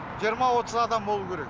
жиырма отыз адам болу керек